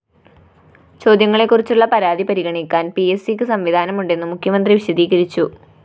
ചോദ്യങ്ങളെക്കുറിച്ചുള്ള പരാതി പരിഗണിക്കാന്‍ പിഎസ്‌സിക്ക് സംവിധാനമുണ്ടെന്നും മുഖ്യമന്ത്രി വിശദീകരിച്ചു